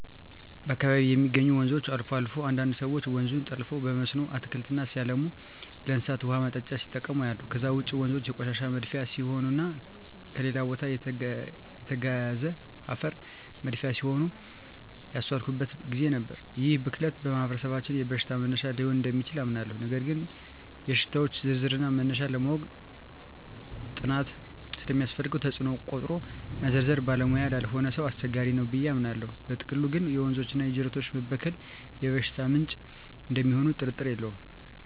በአካባቢየ የሚገኙ ወንዞች አልፎ አልፎ አንዳንድ ሰወች ወንዙን ጠልፈው በመስኖ አትክልት ሲያለሙና ለእንስሳት ውሃ ማጠጫ ሲጠቀሙ አያለሁ። ከዛ ውጭ ወንዞ የቆሻሻ መድፊያ ሲሆኑና ከሌላ ቦታ የተጋዘ አፈር መድፊያ ሲሆኑም ያስተዋልኩበት ግዜ ነበር። ይህ ብክለት በማህበረሰባችን የበሽታ መነሻ ሊሆን እደሚችል አምናለሁ ነገር ግን የሽታወች ዝርዝርና መነሻ ለማወቅ ጥናት ስለሚያስፈልገው ተጽኖውን ቆጥሮ መዘርዘር ባለሙያ ላልሆነ ሰው አስቸጋሪ ነው ብየ አምናለው። በጥቅሉ ግን የወንዞችና የጅረቶች መበከል የበሽታ ምንጭ እደሚሆኑ ጥርጥር የለውም።